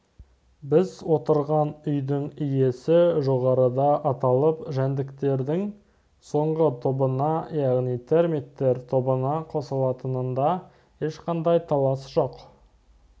біз отырған үйдің иесі жоғарыда аталып өткен жәндіктердің соңғы тобына яғни термиттер тобына қосылатынында ешқандай талас жоқ